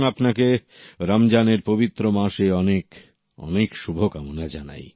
এবং আপনাকে রমজানের পবিত্র মাসে অনেক অনেক শুভকামনা জানাই